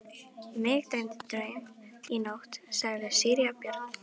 Mig dreymdi draum í nótt, sagði síra Björn.